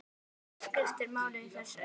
Það skiptir máli í þessu.